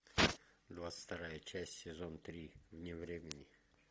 двадцать вторая часть сезон три вне времени